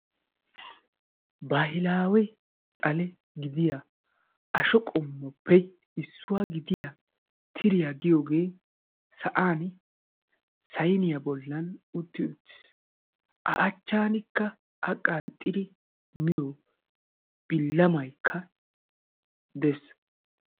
Baahilawe xale gidiya ashsho qommoppe issuwa gidiya tiriyaa giyooge sa'aan sayniyaa bollan utti uttiis. A achchankka a qnxxidi miyoo bilamaykka dees.